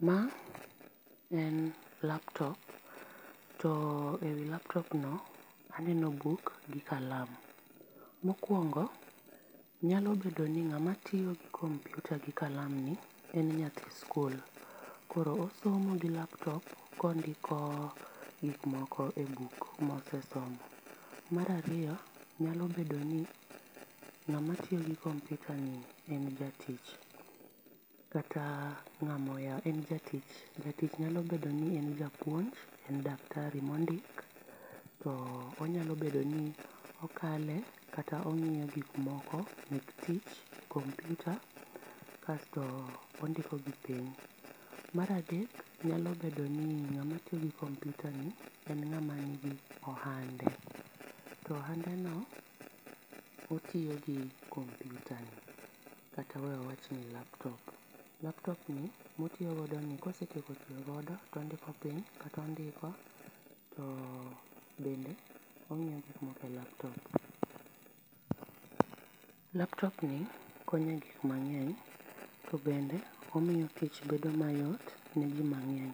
Ma en laptop to ewi laptop no aneno buk gi kalam. Mokuongo nyalo bedo ni ng'ama tiyo gi kompiuta gi kalam ni en nyathi sikul, koro osomo gi laptop ka ondiko gik moko e buk mosesomo. Mar ariyo nyao bedo ni ng'ama tiyo gi kompiutani en jatich kata ng'ama oyaw en jatich, nyalo bedo ni en japuonj, en daktari mondik, nyalo bedo ni okale kata ong'iyo gik moko mek tich e kompiuta kasto ondiko gi piny. Mar adek nyalo bedo ni ng'ama tiyo gi kompiuta ni en ng'ama nigi ohande, to ohandeno otiyo gi kompiutani, kata we awach ni laptop. Laptop ni otiyo godo ka osetieko tiyo godo to ondiko piny, to bende o g'iyo gik moko e laptop. Laptop ni konyo e gik mang'eny to bende omiyo tich bedo mayot neji mang'eny.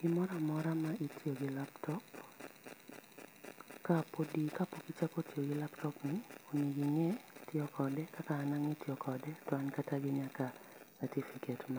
Gimoro amora ma itiyo gi laptop, kapok ichako tiyo gi laptopni onego ing'e kaka itiyo kode kaka an ang'e tiyo kode to an nyaka gi certificate.